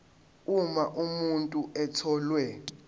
uma umuntu etholwe